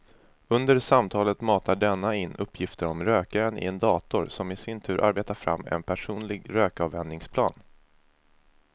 Under samtalet matar denna in uppgifter om rökaren i en dator som i sin tur arbetar fram en personlig rökavvänjningsplan.